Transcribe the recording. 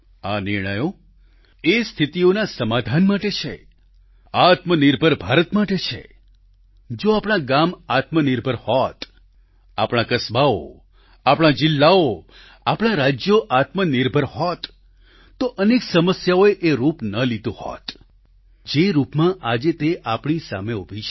આ નિર્ણયો એ સ્થિતીઓના સમાધાન માટે છે આત્મનિર્ભર ભારત માટે છે જો આપણા ગામ આત્મનિર્ભર હોત આપણા કસ્બાઓ આપણા જિલ્લાઓ આપણા રાજ્યો આત્મનિર્ભર હોત તો અનેક સમસ્યાઓએ એ રૂપ ન લીધું હોત જે રૂપમાં આજે તે આપણી સામે ઉભી છે